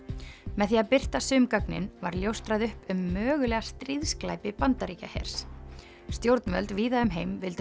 með því að birta sum gögnin var ljóstrað upp um mögulega stríðsglæpi Bandaríkjahers stjórnvöld víða um heim vildu